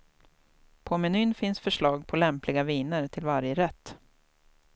På menyn finns förslag på lämpliga viner till varje rätt.